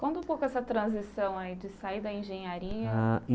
Conta um pouco essa transição aí de sair da engenharia. Ah e